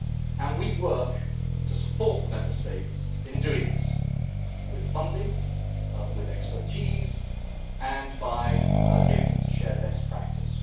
And we work to support the Member States in doing this with funding, expertise and by getting them to share best practice.